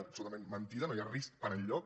absolutament mentida no hi ha risc per enlloc